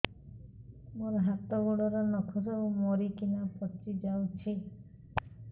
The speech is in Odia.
ମୋ ହାତ ଗୋଡର ନଖ ସବୁ ମରିକିନା ପଚି ଯାଉଛି